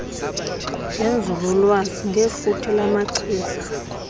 ngenzululwazi ngefuthe lamachiza